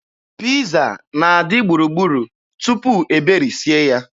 Piiza na-adị gburugburu tupu e berisie ya.